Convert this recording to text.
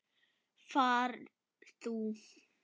Far þú.